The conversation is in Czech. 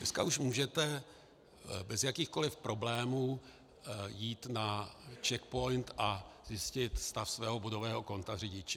Dneska už můžete bez jakýchkoli problémů jít na CzechPOINT a zjistit stav svého bodového konta řidiče.